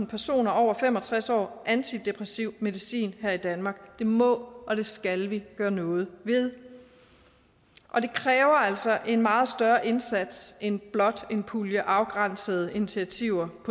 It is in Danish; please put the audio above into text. personer over fem og tres år antidepressiv medicin her i danmark det må og skal vi gøre noget ved og det kræver altså en meget større indsats end blot en pulje afgrænsede initiativer